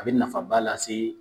A bɛ nafaba lase